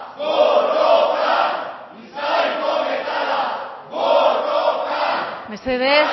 mesedez